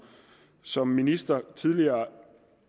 som minister tidligere